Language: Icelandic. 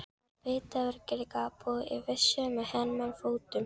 Ert þetta virkilega þú í þessum hermannafötum!